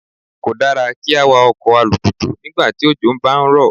Kò dára kí á wa ọkọ̀ alùpùpù nígbà tí òjò ń bá rọ̀.